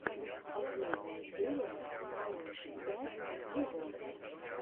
последняя серия марун пять вево